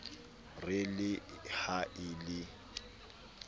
re le ha e le